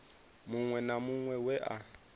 muṅwe na muṅwe we a